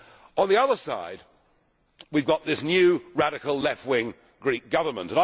On the other side, we have got this new, radical left wing Greek Government.